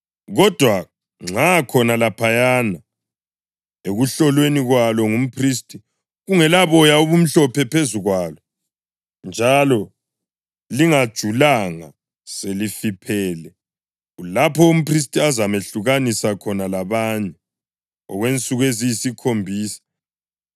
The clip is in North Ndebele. Kodwa nxa khona laphayana ekuhlolweni kwalo ngumphristi kungelaboya obumhlophe phezu kwalo, njalo lingajulanga selifiphele, kulapho umphristi azamehlukanisa khona labanye okwensuku eziyisikhombisa.